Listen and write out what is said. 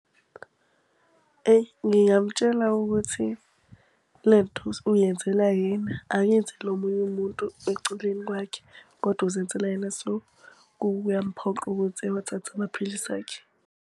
Eyi ngingamutshela ukuthi le nto uyenzela yena akayenzeli omunye umuntu eceleni kwakhe, kodwa uzenzela yena. So kuyamuphoqa ukuthi ewathathe amaphilisi akhe.